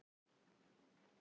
Hún bíður enn dóms